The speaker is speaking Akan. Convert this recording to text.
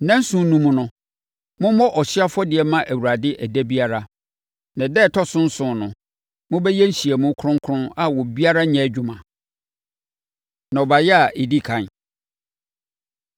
Nnanson no mu no, mommɔ ɔhyeɛ afɔdeɛ mma Awurade ɛda biara. Na ɛda a ɛtɔ so nson no, mobɛyɛ nhyiamu kronkron a obiara renyɛ adwuma.’ ” Nnɔbaeɛ A Ɛdi Ɛkan